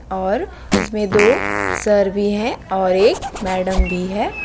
और इसमें दो सर भी है और एक मैडम भी है।